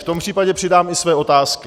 V tom případě přidám i své otázky.